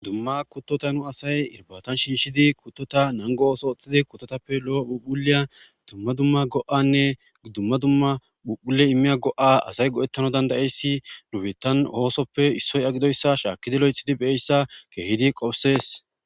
dumma kuttota nu asay irbatan shinshidi kuttota nango ooso oxxhidi kutotappe lo7o phuphuleya dumma dumma go7anne ddumma dumma phuphule immiya go7a asay go7ettano dandayeyssi nubettan oosoppe issoy agidoyssa shaakkidi lo7ethidi beeyssa keehidi qofusees